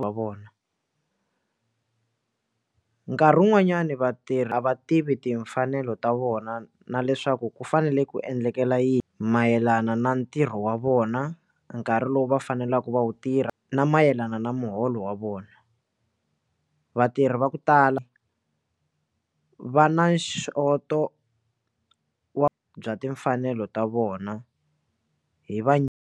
wa vona nkarhi wun'wanyani vatirhi a va tivi timfanelo ta vona na leswaku ku fanele ku endlekela yi mayelana na ntirho wa vona nkarhi lowu va faneleke va wu tirha na mayelana na muholo wa vona, vatirhi va ku tala va na xoto wa bya timfanelo ta vona hi va.